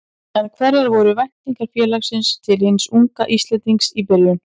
En hverjar voru væntingar félagsins til hins unga Íslendings í byrjun?